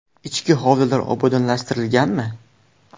I chki hovlilar obodonlashtirilganmi?